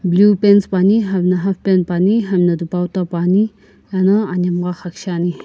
blue pants puani hami na half pant puani hani na dupautta puani ena anhemgha xaküsheani.